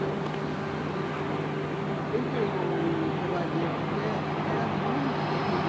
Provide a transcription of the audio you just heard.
Né, não tinha nada de... Tanto o cavaleiro quanto era a música que eles